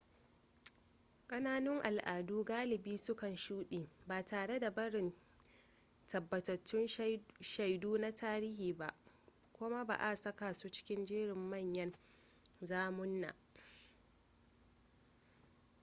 kananun al'adu galibi su kan shuɗe ba tare da barin tabbatattun shaidu na tarihi ba kuma ba a saka su cikin jerin manyan zamunna